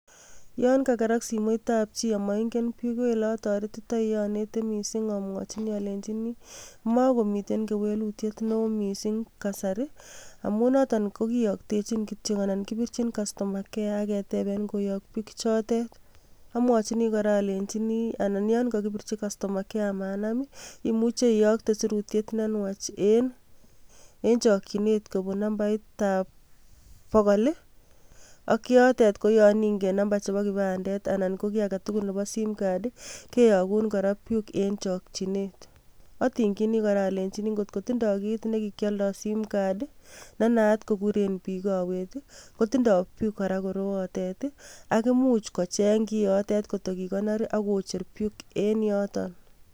Yon kakerak simoitab chi amoingen PUK ko oleatoretitoi anete missing amwajin alenjin mokomiten kewelutiet neo missing kasari amun noto kokiyoktechin kityok ana kibirchin castuma care aketeben koyok PUK ichotet amwachin kora alenjin ana yongokibirchi castoma care amanam imuche iyokte sirutiet nenwach en chokchinet kobun nambaitab bogol ak yotet koyo ingen namba nebo kipandet ana koki aketugul nebo simcard kiyogun kora PUK en chokchinet otingyini kora alenji ngot kotindoo kit nekikialdo simcard nenaat kokuren biik kowet kotindoo PUK kora korootet ak imuch kocheng kiotet ngot kokikonor akocher PUK en yoto.